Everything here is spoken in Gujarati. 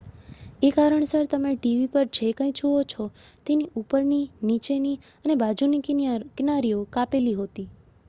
એ કારણસર તમે ટીવી પર જે કંઈ જુઓ છો તેની ઉપરની નીચેની અને બાજુની કિનારીઓ કાપેલી હોતી